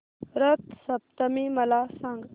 रथ सप्तमी मला सांग